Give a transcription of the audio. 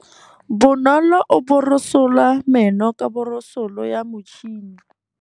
Bonolô o borosola meno ka borosolo ya motšhine.